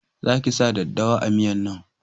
Za ki sa daddawa a miyan nan!